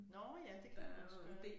Nåh ja det kan man også gøre